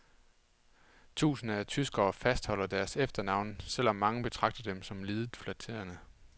Tusinder af tyskere fastholder deres efternavne, selv om mange betragter dem som lidet flatterende.